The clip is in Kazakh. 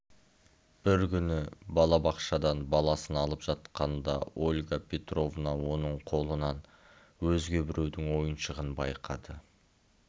бір күні балабақшадан баласын алып жатқанда ольга петровна оның қолынан өзге біреудің ойыншығын байқады